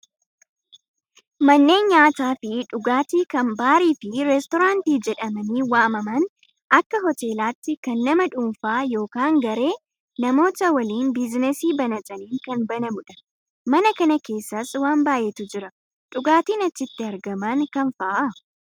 Manneen nyaataa fi dhugaatii kan baarii fi reestoraantii jedhamanii waamaman Akka hoteelaatti kan nama dhuunfaa yookaan garee namoota waliin biizinasii banataniin kan banamudha. Mana kana keessas waan baay'eetu Jira. Dhugaatiin achitti argaman kam fa'aa?